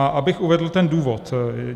A abych uvedl ten důvod.